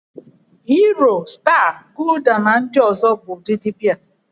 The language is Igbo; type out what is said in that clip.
Hiro, Staa, Gulda na ndị ọzọ bụ ụdịdị Bịa.